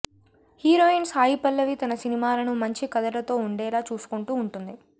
heroine Sai Pallavi తన సినిమాలను మంచి కథ లతో ఉండేలా చూసుకుంటూ ఉంటుంది